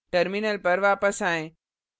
terminal पर वापस आएँ